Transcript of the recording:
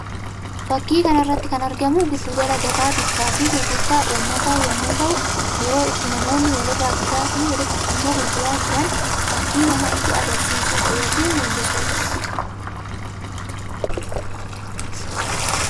Fakkii kana irratti kan argamu giddu gala gabaa bittaa fi gurgurtaa uummataa yammuu tahuu; yeroo itti namoonni wal irraa bitaa fi walitti immoo gurguraa jiran fakkii namatti agarasiisuu dha yookiin mullisuu dha.